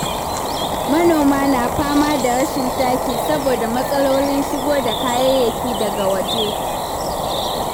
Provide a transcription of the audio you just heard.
Manoma na fama da rashin taki saboda matsalolin shigo da kayayyaki daga waje.